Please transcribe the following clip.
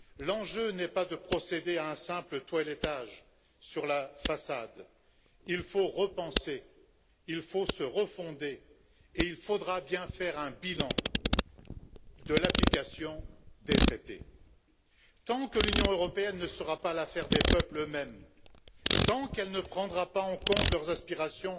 L'enjeu n'est pas de procéder à un simple toilettage de la façade il faut repenser, il faut se refonder et il faudra bien faire un bilan de l'application des traités. Tant que l'Union européenne ne sera pas l'affaire des peuples mêmes, tant qu'elle ne prendra pas en compte leurs aspirations